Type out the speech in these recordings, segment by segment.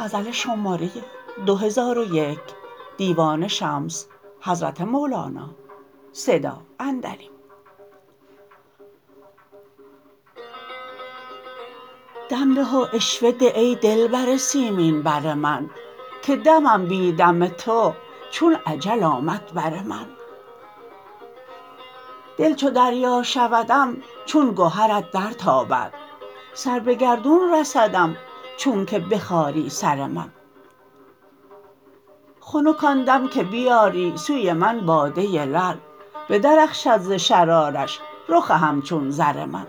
دم ده و عشوه ده ای دلبر سیمین بر من که دمم بی دم تو چون اجل آمد بر من دل چو دریا شودم چون گهرت درتابد سر به گردون رسدم چونک بخاری سر من خنک آن دم که بیاری سوی من باده لعل بدرخشد ز شرارش رخ همچون زر من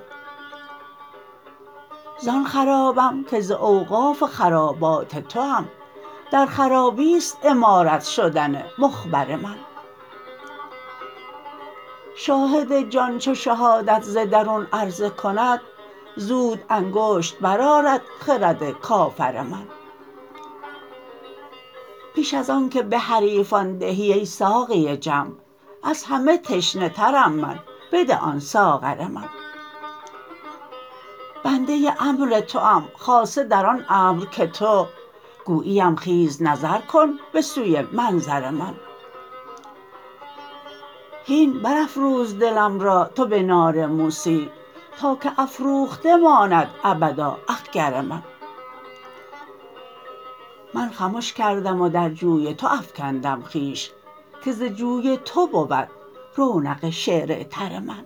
زان خرابم که ز اوقاف خرابات توام در خرابی است عمارت شدن مخبر من شاهد جان چو شهادت ز درون عرضه کند زود انگشت برآرد خرد کافر من پیش از آنک به حریفان دهی ای ساقی جمع از همه تشنه ترم من بده آن ساغر من بنده امر توام خاصه در آن امر که تو گویی ام خیز نظر کن به سوی منظر من هین برافروز دلم را تو به نار موسی تا که افروخته ماند ابدا اخگر من من خمش کردم و در جوی تو افکندم خویش که ز جوی تو بود رونق شعر تر من